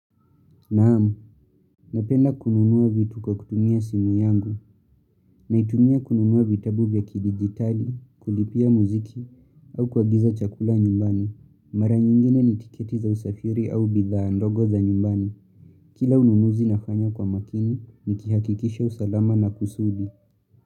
Naam, napenda kununua vitu kwa kutumia simu yangu, naitumia kununua vitabu vya kidigitali, kulipia muziki, au kuagiza chakula nyumbani. Mara nyingine ni tiketi za usafiri au bidhaa ndogo za nyumbani. Kila ununuzi nafanya kwa makini, nikihakikisha usalama na kusudi.